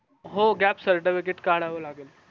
हो gap certificate काढावं लागेल